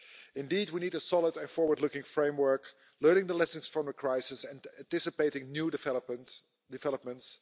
Indeed, we need a solid and forward-looking framework, learning the lessons from the crisis and anticipating new developments.